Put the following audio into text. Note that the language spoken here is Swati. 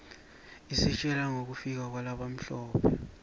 isitjela ngekufika kwalabamhlope